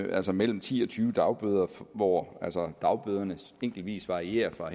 altså mellem ti og tyve dagbøder hvor dagbøderne enkeltvis varierer fra